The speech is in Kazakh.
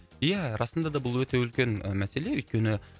ия расында да бұл өте үлкен мәселе өйткені